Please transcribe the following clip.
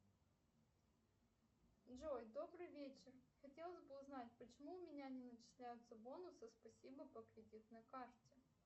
джой добрый вечер хотелось бы узнать почему у меня не начисляются бонусы спасибо по кредитной карте